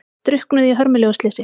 Drukknuðu í hörmulegu slysi